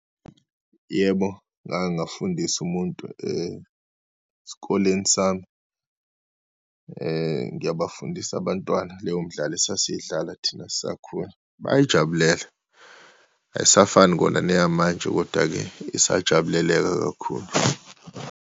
Yebo, ngake ngafundisa umuntu esikoleni sami. Ngiyabafundisa abantwana leyo mdlalo esasiyidlala thina sisakhula. Bayayijabulela, ayisafani kona neyamanje, kodwa-ke isajabuleleka kakhulu.